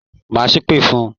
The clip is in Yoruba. Má ṣèpè fun!